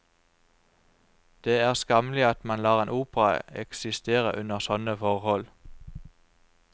Det er skammelig at man lar en opera eksistere under sånne forhold.